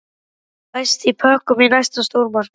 Fæst í pökkum í næsta stórmarkaði.